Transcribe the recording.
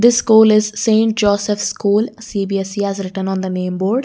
This school is St Joseph school cbse has written on the name board.